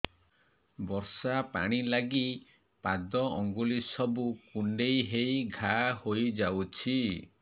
ବର୍ଷା ପାଣି ଲାଗି ପାଦ ଅଙ୍ଗୁଳି ସବୁ କୁଣ୍ଡେଇ ହେଇ ଘା ହୋଇଯାଉଛି